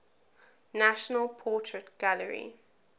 national portrait gallery